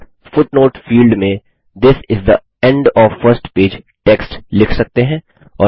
आप footnote field में this is the end of first page text लिख सकते हैं